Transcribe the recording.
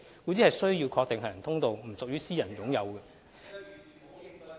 故此，需要確定行人通道並不屬於私人擁有......